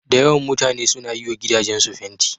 Da yawan mutane suna yi wa gidajensu fanti.